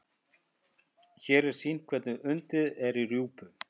Hér er sýnt hvernig undið er í rjúpu.